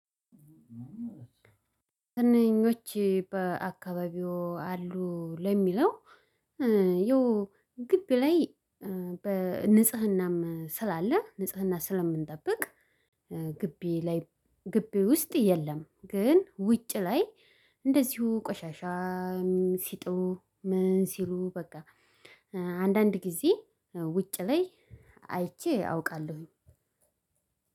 ትንኞች በአካባቢዎ አሉ ለሚለው? ግቢ ላይ በንጽህናም ስላለ ንጽህና ስለምንጠብቅ ግቢ ላይ ግቢ ውስጥ የለም። ግን ውጭ ላይ እንደዚሁ ቆሻሻም ሲጥሉ ምን ሲሉ በቃ? አንዳንድ ጊዜ ውጭ ላይ አይቼ አውቃለሁኝ።